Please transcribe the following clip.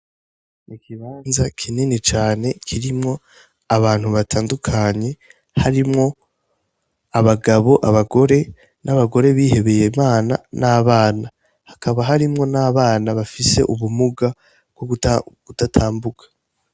Ni ikibanza kinini cane kirimwo abantu batandukanye harimwo abagabo, abagore, n'abgore bihebeye Imana n'abana. Hakaba harimwo n'abana bafise ubumuga bw'ukudatambuka.